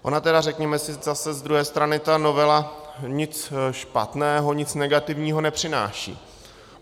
Ona tedy, řekněme si zas z druhé strany, ta novela nic špatného, nic negativního nepřináší.